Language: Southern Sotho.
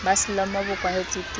ba selomo bo kwahetswe ke